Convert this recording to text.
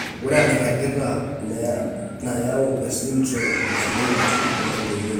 Ore enairagita nayau esindirom eChilaiditi naa meyioloi.